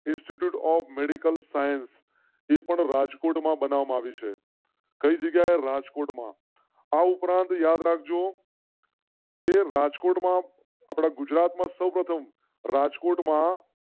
institute of medical science Rajkot માં બનાવી છે. કઈ જગ્યા એ રાજકોટ માં આ ઉપરાંત યાદ રાખ જો. રાજકોટ માં આપણા ગુજરાતમાં સૌ પ્રથમ રાજકોટ માં.